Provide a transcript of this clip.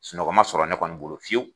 Sunɔgɔ ma sɔrɔ ne kɔni bolo fiyewu